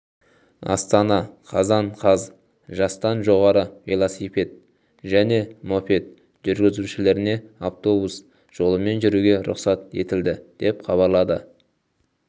астана қазан қаз жастан жоғары велосипед және мопед жүргізушілеріне автобус жолымен жүруге рұқсат етілді деп хабарлады